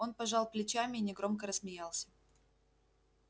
он пожал плечами и негромко рассмеялся